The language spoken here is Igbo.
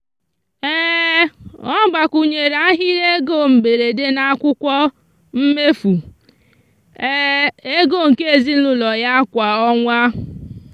ọ gbakwunyere ahịrị ego mberede n'akwụkwọ mmefu ego nke ezinụụlọ ya kwa ọnwa.